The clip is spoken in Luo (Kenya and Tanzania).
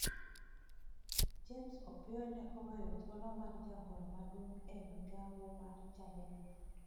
James Opiyo ne oweyo thuolo mar jagoro maduomg e migawo mar Chadema.